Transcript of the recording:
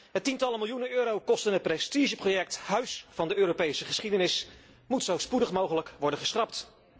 Het tientallen miljoenen euro kostende prestigeproject Huis van de Europese geschiedenis moet zo spoedig mogelijk worden geschrapt.